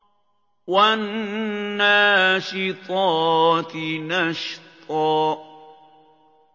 وَالنَّاشِطَاتِ نَشْطًا